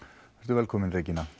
velkomin Regína